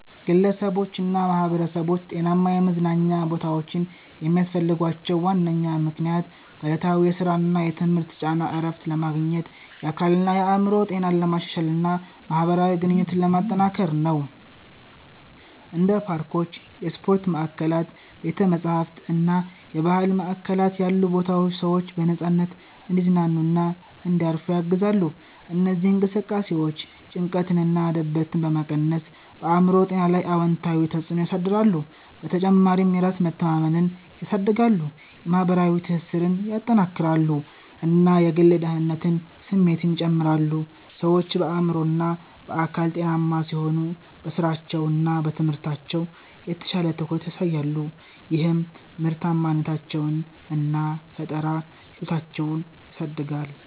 ግለሰቦችና ማኅበረሰቦች ጤናማ የመዝናኛ ቦታዎችን የሚያስፈልጋቸው ዋነኛ ምክንያት ከዕለታዊ የሥራና የትምህርት ጫና እረፍት ለማግኘት፣ የአካልና የአእምሮ ጤናን ለማሻሻል እና ማኅበራዊ ግንኙነቶችን ለማጠናከር ነው። እንደ ፓርኮች፣ የስፖርት ማዕከላት፣ ቤተ-መጻሕፍት እና የባህል ማዕከላት ያሉ ቦታዎች ሰዎች በነፃነት እንዲዝናኑና እንዲያርፉ ያግዛሉ። እነዚህ እንቅስቃሴዎች ጭንቀትንና ድብርትን በመቀነስ በአእምሮ ጤና ላይ አዎንታዊ ተጽዕኖ ያሳድራሉ። በተጨማሪም የራስ መተማመንን ያሳድጋሉ፣ የማኅበራዊ ትስስርን ያጠናክራሉ እና የግል ደህንነት ስሜትን ይጨምራሉ። ሰዎች በአእምሮና በአካል ጤናማ ሲሆኑ በሥራቸውና በትምህርታቸው የተሻለ ትኩረት ያሳያሉ፣ ይህም ምርታማነታቸውን እና ፈጠራ ችሎታቸውን ያሳድጋል